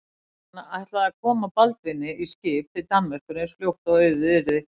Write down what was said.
Hann ætlaði að koma Baldvini í skip til Danmerkur eins fljótt og auðið yrði.